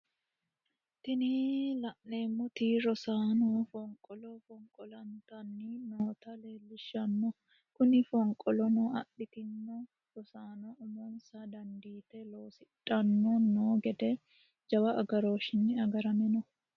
Tini lanemoti rossano foniqolo foniqolaanitanni nota leleishana kune foniqolono adhititni noo rosanono umonisa danidite losidhano no gede jawu agaroshinni agarame no.